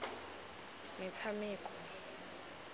metshameko